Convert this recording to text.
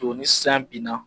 To ni san binna